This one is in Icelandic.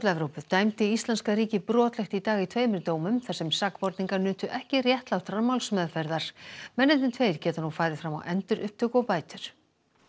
Evrópu dæmdi íslenska ríkið brotlegt í dag í tveimur dómum þar sem sakborningar nutu ekki réttlátrar málsmeðferðar mennirnir tveir geta nú farið fram á endurupptöku og bætur